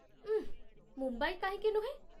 ଉଃ, ମୁମ୍ବାଇ କାହିଁକି ନୁହେଁ?